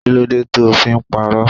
Kí ló dé to fí ń pàrọ?